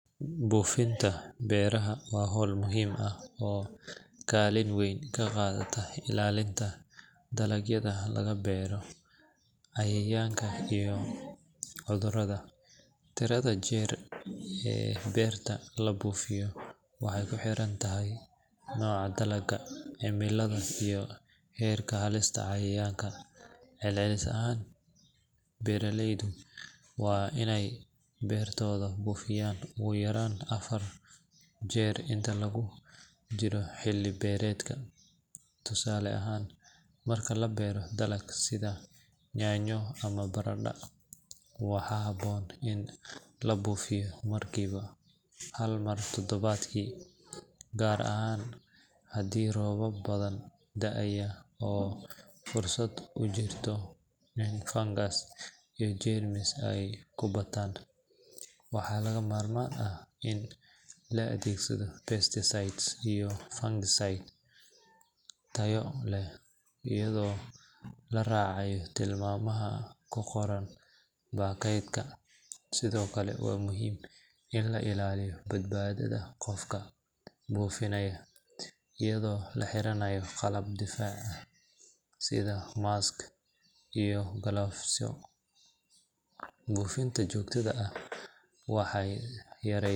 Buufinta beeraha waa hawl muhiim ah oo kaalin weyn ka qaadata ilaalinta dalagyada laga beero cayayaanka iyo cudurrada. Tirada jeer ee beerta la buufiyo waxay ku xiran tahay nooca dalagga, cimilada iyo heerka halista cayayaanka. Celcelis ahaan, beeraleydu waa inay beertooda buufiyaan ugu yaraan afar jeer inta lagu jiro xilli beereedka. Tusaale ahaan, marka la beero dalag sida yaanyo ama baradhada, waxaa habboon in la buufiyo markiiba hal mar todobaadkii, gaar ahaan haddii roobab badani da’ayaan oo fursad u jirto in fangas iyo jeermis ay ku bataan. Waxaa lagama maarmaan ah in la adeegsado pesticides iyo fungicides tayo leh, iyadoo la raacayo tilmaamaha ku qoran baakadka. Sidoo kale, waa muhiim in la ilaaliyo badbaadada qofka buufinaya iyadoo la xiranayo qalab difaac sida mask iyo galoofisyo. Buufinta joogtada ah waxay.